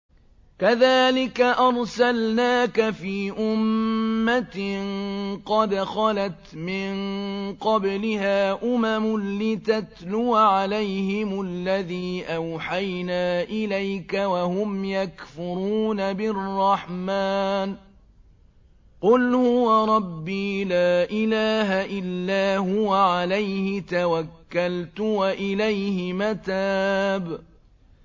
كَذَٰلِكَ أَرْسَلْنَاكَ فِي أُمَّةٍ قَدْ خَلَتْ مِن قَبْلِهَا أُمَمٌ لِّتَتْلُوَ عَلَيْهِمُ الَّذِي أَوْحَيْنَا إِلَيْكَ وَهُمْ يَكْفُرُونَ بِالرَّحْمَٰنِ ۚ قُلْ هُوَ رَبِّي لَا إِلَٰهَ إِلَّا هُوَ عَلَيْهِ تَوَكَّلْتُ وَإِلَيْهِ مَتَابِ